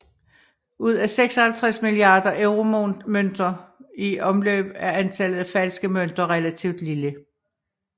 Ud af 56 milliarder euromønter i omløb er antallet af falske mønter relativt lille